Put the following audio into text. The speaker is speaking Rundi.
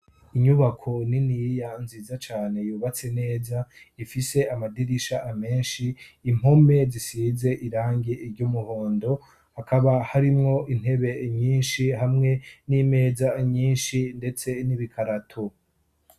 Inyubako niniya nziza cane, yubatse neza, ifise amadirisha menshi, impome zisize irangi ry'umuhondo. Hakaba harimwo intebe nyinshi, hamwe n'imeza nyinshi ndetse n'ibikarato.